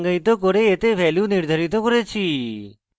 এতে value নির্ধারিত করেছি